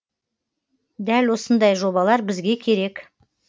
дәл осындай жобалар бізге керек